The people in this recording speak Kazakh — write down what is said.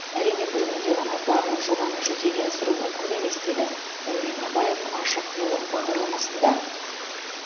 әрине бір күнде ғана барлық жобаны жүзеге асыру мүмкін емес деді дәурен абаев ашық диалог бағдарламасында